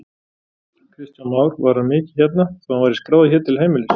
Kristján Már: Var hann mikið hérna, þó hann væri skráður hér til heimilis?